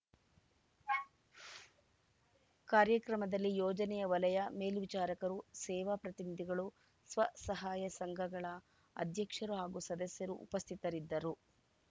ಕು ಕಾರ್ಯಕ್ರಮದಲ್ಲಿ ಯೋಜನೆಯ ವಲಯ ಮೇಲ್ವಿಚಾರಕರು ಸೇವಾ ಪ್ರತಿನಿಧಿಗಳು ಸ್ವಸಹಾಯ ಸಂಘಗಳ ಅಧ್ಯಕ್ಷರು ಹಾಗೂ ಸದಸ್ಯರು ಉಪಸ್ಥಿತರಿದ್ದರು